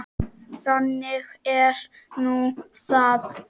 Þannig er nú það.